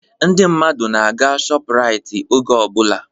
Ndị mmadụ na-aga shọpu Rait oge ọbụla